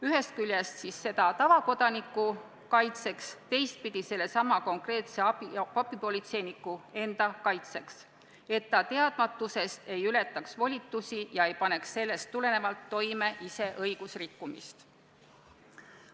Ühest küljest on see vajalik tavakodaniku kaitseks, teisalt sellesama konkreetse abipolitseiniku enda kaitseks, et ta teadmatusest ei ületaks volitusi ega paneks sellest tulenevalt ise toime õigusrikkumist.